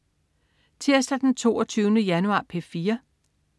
Tirsdag den 22. januar - P4: